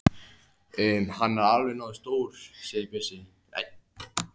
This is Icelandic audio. Hann er alveg nógu stór segir Bjössi.